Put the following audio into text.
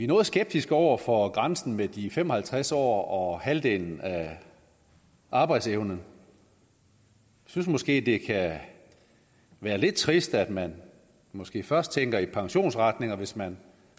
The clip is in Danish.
noget skeptiske over for grænsen med de fem og halvtreds år og halvdelen af arbejdsevnen vi synes måske det kan være lidt trist at man måske først tænker i pensionsretninger hvis man